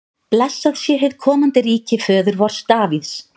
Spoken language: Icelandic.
Blessað sé hið komandi ríki föður vors Davíðs!